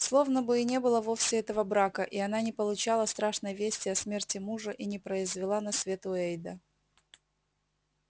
словно бы и не было вовсе этого брака и она не получала страшной вести о смерти мужа и не произвела на свет уэйда